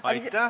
Aitäh!